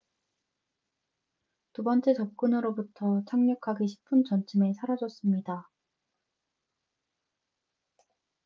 두 번째 접근으로부터 착륙하기 10분 전쯤에 사라졌습니다